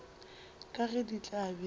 ka ge di tla be